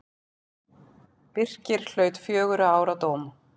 Birkir hlaut fjögurra ára dóm.